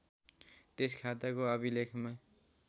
त्यस खाताको अभिलेखमा